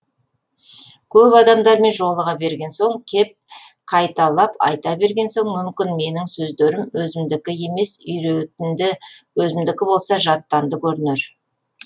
көп адамдармен жолыға берген соң кеп қайталап айта берген соң мүмкін менің сөздерім өзімдікі емес үйретінді өзімдікі болса жаттанды көрінер